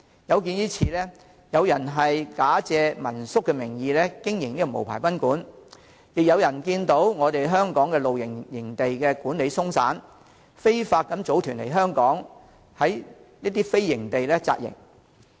有見於此，有人假借民宿名義經營無牌賓館，亦有人看到香港的露營營地管理鬆散，非法組團來港到非營地扎營。